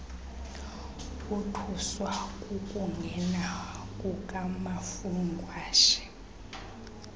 bothuswa kukungena kukamafungwashe